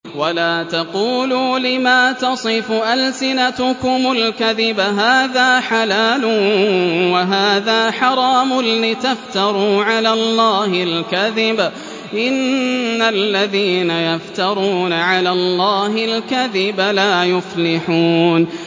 وَلَا تَقُولُوا لِمَا تَصِفُ أَلْسِنَتُكُمُ الْكَذِبَ هَٰذَا حَلَالٌ وَهَٰذَا حَرَامٌ لِّتَفْتَرُوا عَلَى اللَّهِ الْكَذِبَ ۚ إِنَّ الَّذِينَ يَفْتَرُونَ عَلَى اللَّهِ الْكَذِبَ لَا يُفْلِحُونَ